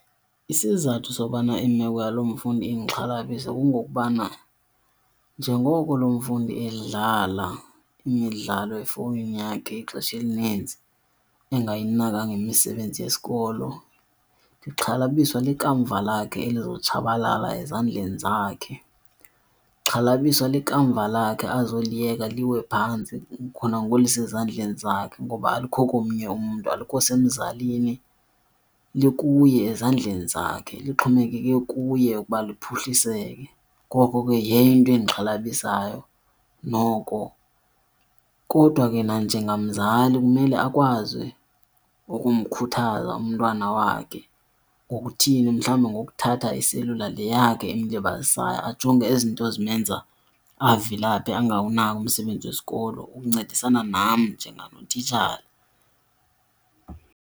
Isizathu sokubana imeko yalo mfundi indixhalabise kungokubana njengoko lo mfundi edlala imidlalo efowunini yakhe ixesha elinintsi engayinakanga imisebenzi yesikolo ndixhalabiswa likamva lakhe eli lizotshabalala ezandleni zakhe. Ndixhalabiswa likamva lakhe azoliyeka liwe phantsi khona ngoku lisezandleni zakhe ngoba alikho komnye umntu, alikho semzalini likuye ezandleni zakhe lixhomekeke kuye ukuba liphuhliseke. Ngoko ke yeyo into endixhalabisayo noko kodwa ke nanjengomzali kumele akwazi ukumkhuthaza umntwana wakhe ngokuthini? Mhlawumbi ngokuthatha iselula le yakhe emlibazisayo ajonge ezi zinto zimenza avilaphe angawunaki umsebenzi wesikolo ukuncedisana nam njengatitshala.